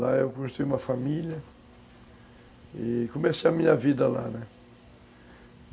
Lá eu construí uma família e comecei a minha vida lá, né?